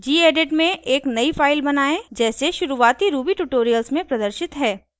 gedit में एक नयी फाइल बनायें जैसे शुरुवाती ruby ट्यूटोरियल्स में प्रदर्शित है